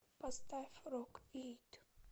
поставь рок ит